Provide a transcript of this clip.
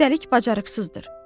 Üstəlik bacarıqsızdır.